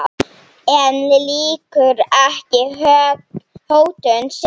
En lýkur ekki hótun sinni.